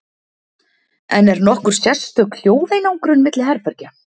En er nokkur sérstök hljóðeinangrun milli herbergja?